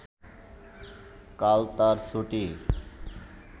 কাল তার ছুটি